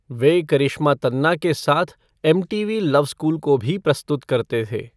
वे करिश्मा तन्ना के साथ MTV love school को भी प्रस्तुत करते थे।